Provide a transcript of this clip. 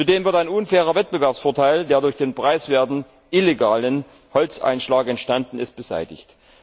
Zudem wird ein unfairer Wettbewerbsvorteil, der durch den preiswerten, illegalen Holzeinschlag entstanden ist, beseitigt.